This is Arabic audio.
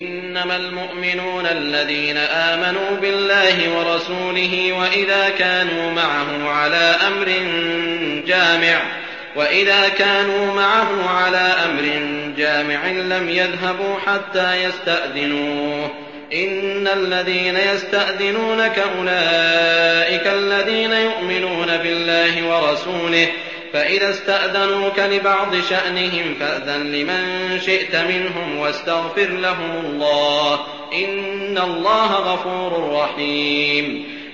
إِنَّمَا الْمُؤْمِنُونَ الَّذِينَ آمَنُوا بِاللَّهِ وَرَسُولِهِ وَإِذَا كَانُوا مَعَهُ عَلَىٰ أَمْرٍ جَامِعٍ لَّمْ يَذْهَبُوا حَتَّىٰ يَسْتَأْذِنُوهُ ۚ إِنَّ الَّذِينَ يَسْتَأْذِنُونَكَ أُولَٰئِكَ الَّذِينَ يُؤْمِنُونَ بِاللَّهِ وَرَسُولِهِ ۚ فَإِذَا اسْتَأْذَنُوكَ لِبَعْضِ شَأْنِهِمْ فَأْذَن لِّمَن شِئْتَ مِنْهُمْ وَاسْتَغْفِرْ لَهُمُ اللَّهَ ۚ إِنَّ اللَّهَ غَفُورٌ رَّحِيمٌ